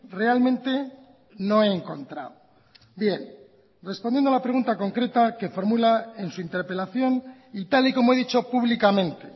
realmente no he encontrado bien respondiendo a la pregunta concreta que formula en su interpelación y tal y como he dicho públicamente